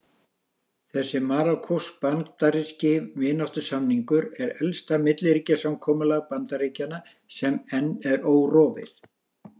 Þessi marokkósk-bandaríski vináttusamningur er elsta milliríkjasamkomulag Bandaríkjanna sem enn er órofið.